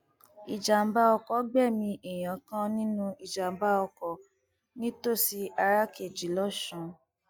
ìjàḿbà ọkọ gbẹmí èèyàn kan nínú ìjàmbá ọkọ nítòsí arákejì lọsùn